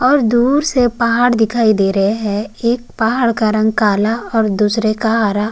और दूर से पहाड़ दिखाई दे रहे है एक पहाड़ का रंग काला और दूसरे का हरा।